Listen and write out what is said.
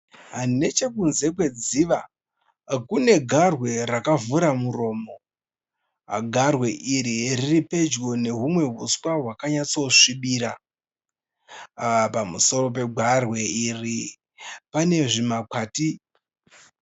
Nechekunze kwedziva kune garwe rakavhura muromo, garwe iri riripedyo nehumwe uswa hwakanyatsosvibira. Pamusoro pegarwe iri panezvimakwati.